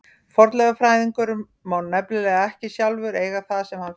Fornleifafræðingur má nefnilega ekki sjálfur eiga það sem hann finnur.